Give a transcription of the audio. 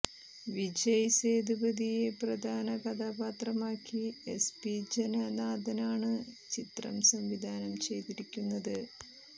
വിജയ് സേതുപതിയെ പ്രധാന കഥാപാത്രമാക്കി എസ്പി ജനനാഥനാണ് ചിത്രം സംവിധാനം ചെയ്തിരിക്കുന്നത്